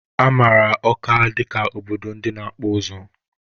A mara Ọka dịka obodo ndị na-akpụ ụzụ.